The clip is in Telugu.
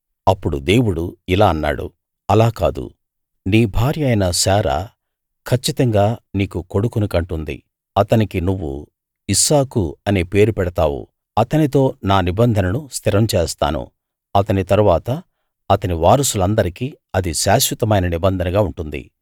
అప్పుడు దేవుడు ఇలా అన్నాడు అలా కాదు నీ భార్య అయిన శారా కచ్చితంగా నీకు కొడుకుని కంటుంది అతనికి నువ్వు ఇస్సాకు అనే పేరు పెడతావు అతనితో నా నిబంధనను స్థిరం చేస్తాను అతని తరువాత అతని వారసులందరికీ అది శాశ్వతమైన నిబంధనగా ఉంటుంది